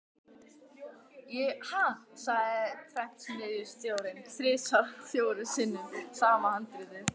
Ha, sagði prentsmiðjustjórinn: þrisvar fjórum sinnum sama handritið?